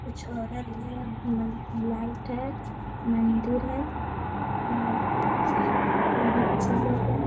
कुछ औरत है मन लाइट है मंदिर है और बच्चे लोग हैं।